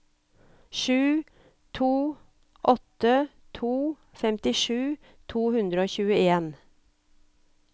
sju to åtte to femtisju to hundre og tjueen